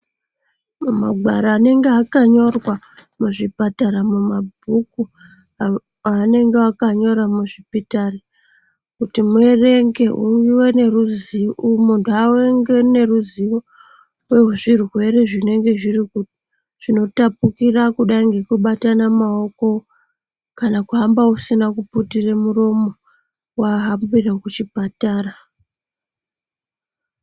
Mumagwaro anenge akanyorwa muzvipatara mumabhuku aanenge akanyora muzvipitari kuti muerenge munhtu ave neruzivo wezvirwere zvinotapukira kudai ngekubatana maoko kana kuhamba usina kuputira muromo wahambire kuchipatara.